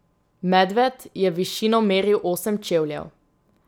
Medved je v višino meril osem čevljev.